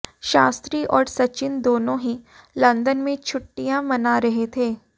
शास्त्री और सचिन दोनों ही लंदन में छुट्टियां मना रहे हैं